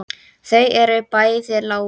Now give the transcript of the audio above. Þau eru bæði látin.